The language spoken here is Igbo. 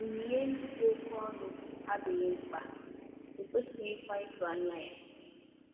Onyinye ndị dị oké ọnụ adịghị mkpa, e kwesịghịkwa ịtụ anya ha.